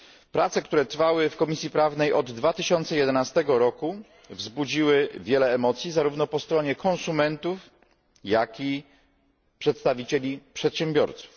Prace, które trwały w Komisji Prawnej od 2011 roku, wzbudziły wiele emocji zarówno po stronie konsumentów, jak i przedstawicieli przedsiębiorców.